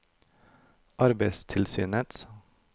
arbeidstilsynets